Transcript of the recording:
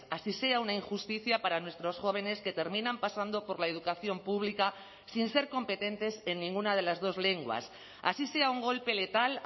así sea una injusticia para nuestros jóvenes que terminan pasando por la educación pública sin ser competentes en ninguna de las dos lenguas así sea un golpe letal